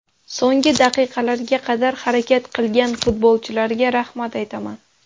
So‘nggi daqiqalarga qadar harakat qilgan futbolchilarga rahmat aytaman”.